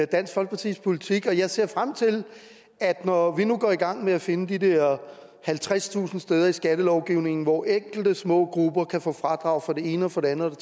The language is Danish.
dansk folkepartis politik og jeg ser frem til at når vi nu går i gang med at finde de der halvtredstusind steder i skattelovgivningen hvor enkelte små grupper kan få fradrag for det ene og for det andet og